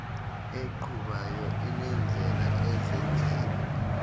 eqhubayo inendlela ezenzela